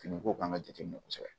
Fini ko kan ka jateminɛ kosɛbɛ